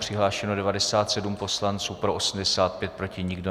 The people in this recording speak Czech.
Přihlášeno 97 poslanců, pro 85, proti nikdo.